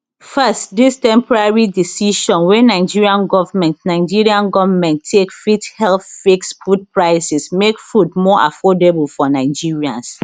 first dis temporary decision wey nigerian goment nigerian goment take fit help fix food prices make food more affordable for nigerians